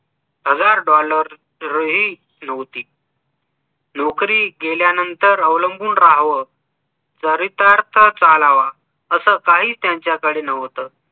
पगार dollar नव्हती नोकरी गेल्या नंतर अवलंबुन राहव जरी तरचा चालावा असं काही त्यांच्याकडे नव्हतं